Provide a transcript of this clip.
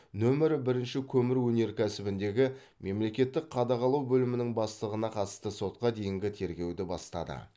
нөмірі брінші көмір өнеркәсібіндегі мемлекеттік қадағалау бөлімінің бастығына қатысты сотқа дейінгі тергеуді бастады